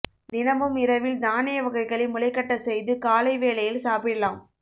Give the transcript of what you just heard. தினமும் இரவில் தானிய வகைகளை முளைக்கட்ட செய்து காலை வேளையில் சாப்பிடலாம்